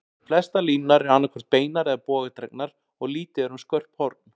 Flestar línurnar eru annað hvort beinar eða bogadregnar, og lítið er um skörp horn.